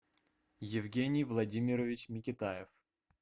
евгений владимирович микитаев